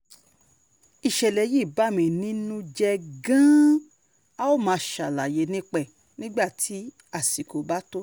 ìṣẹ̀lẹ̀ yìí bà mí nínú jẹ́ gan-an a ó máa ṣàlàyé nípa ẹ̀ nígbà tí àsìkò bá tó